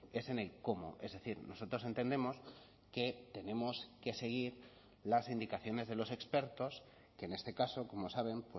es en el cómo es decir nosotros entendemos que tenemos que seguir las indicaciones de los expertos que en este caso como saben